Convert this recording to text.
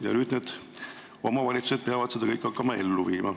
Ja nüüd need omavalitsused peavad seda kõike hakkama ellu viima.